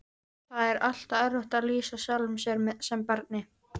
Það er alltaf erfitt að lýsa sjálfum sér sem barni.